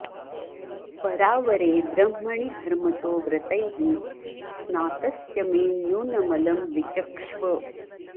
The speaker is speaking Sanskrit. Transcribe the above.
परावरे ब्रह्मणि धर्मतो व्रतैः स्नातस्य मे न्यूनमलं विचक्ष्व